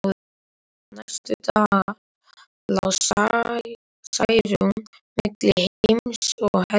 Næstu daga lá Særún milli heims og helju.